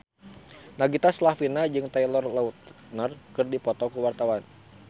Nagita Slavina jeung Taylor Lautner keur dipoto ku wartawan